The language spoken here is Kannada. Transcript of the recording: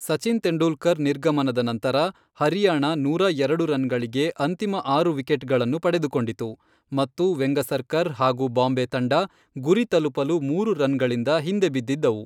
ಸಚಿನ್ ತೆಂಡೂಲ್ಕರ್ ನಿರ್ಗಮನದ ನಂತರ, ಹರಿಯಾಣ ನೂರಾ ಎರಡು ರನ್ ಗಳಿಗೆ ಅಂತಿಮ ಆರು ವಿಕೆಟ್ ಗಳನ್ನು ಪಡೆದುಕೊಂಡಿತು ಮತ್ತು ವೆಂಗಸರ್ಕರ್ ಹಾಗೂ ಬಾಂಬೆ ತಂಡ ಗುರಿ ತಲುಪಲು ಮೂರು ರನ್ಗಳಿಂದ ಹಿಂದೆ ಬಿದ್ದಿದ್ದವು.